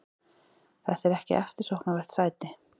Þetta er ekki eftirsóknarvert sæti.